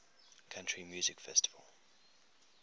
country music festival